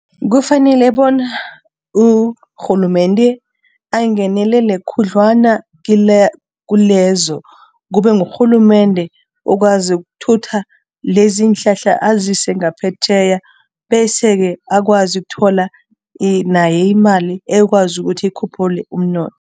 Kufanele bona urhulumende angenelele khudlwana kulezo, kube ngurhulumende okwazi ukuthutha lezi iinhlahla azise ngaphetjheya bese-ke akwazi ukuthola naye imali ekwazi ukuthi ikhuphule umnotho.